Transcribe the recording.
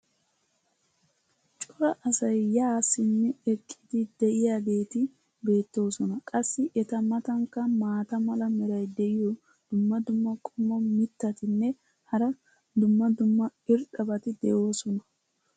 cora asay yaa simmi eqqidi diyaageeti betoosona. qassi eta matankka maata mala meray diyo dumma dumma qommo mitattinne hara dumma dumma irxxabati de'oosona.